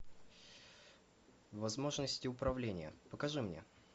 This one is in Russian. возможности управления покажи мне